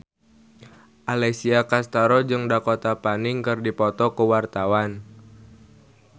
Alessia Cestaro jeung Dakota Fanning keur dipoto ku wartawan